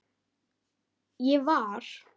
Ég var.